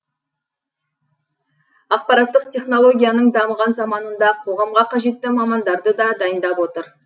ақпараттық технологияның дамыған заманында қоғамға қажетті мамандарды да дайындап отыр